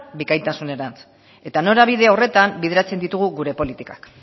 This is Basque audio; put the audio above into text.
bikaintasunerantz eta norabide horretan bideratzen ditugu gure politikak